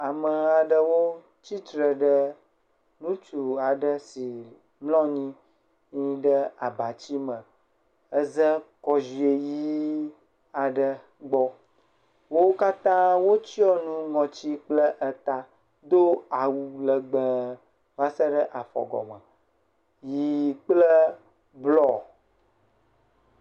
Ameha aɖewo tsitre ɖe ŋutsu aɖe si mlɔ anyi nyi ɖe abatsi me eze kɔziɔe ʋi aɖe gbɔ. Wo katã wotsɔ nu ŋɔtsi kple eta do awu legbe va se ɖe afɔgɔme. Ʋi kple blɔ.